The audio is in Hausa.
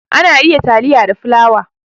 Ana iya taliya da fulawa.